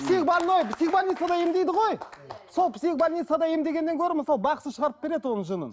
психбольной психбольницада емдейді ғой сол психбольницадағы емдегеннен гөрі мысалы бақсы шығарып береді оның жынын